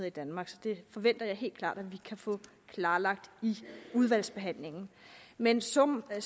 i danmark så det forventer jeg helt klart at vi kan få klarlagt i udvalgsbehandlingen men summen af